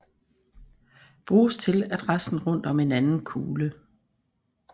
Bruges til at resten rundt om en anden kugle